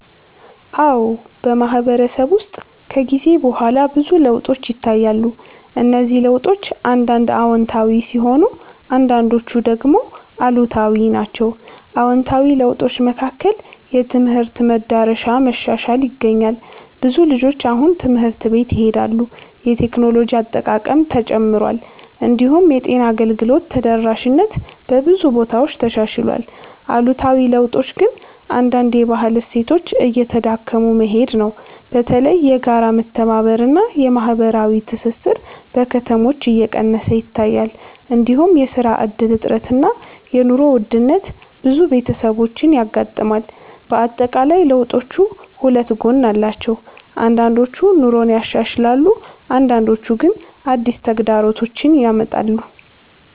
አዎ፣ በማህበረሰብ ውስጥ ከጊዜ በኋላ ብዙ ለውጦች ይታያሉ። እነዚህ ለውጦች አንዳንድ አዎንታዊ ሲሆኑ አንዳንዶቹ ደግሞ አሉታዊ ናቸው። አዎንታዊ ለውጦች መካከል የትምህርት መዳረሻ መሻሻል ይገኛል። ብዙ ልጆች አሁን ትምህርት ቤት ይሄዳሉ፣ የቴክኖሎጂ አጠቃቀምም ተጨምሯል። እንዲሁም የጤና አገልግሎት ተደራሽነት በብዙ ቦታዎች ተሻሽሏል። አሉታዊ ለውጦች ግን አንዳንድ የባህል እሴቶች እየተዳከሙ መሄድ ነው። በተለይ የጋራ መተባበር እና የማህበራዊ ትስስር በከተሞች እየቀነሰ ይታያል። እንዲሁም የስራ እድል እጥረት እና የኑሮ ውድነት ብዙ ቤተሰቦችን ያጋጥማል። በአጠቃላይ ለውጦቹ ሁለት ጎን አላቸው፤ አንዳንዶቹ ኑሮን ያሻሽላሉ አንዳንዶቹ ግን አዲስ ተግዳሮቶች ያመጣሉ።